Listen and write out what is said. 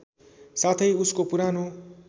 साथै उसको पुरानो